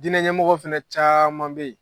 Diinɛ ɲɛmɔgɔ fana caman bɛ yen.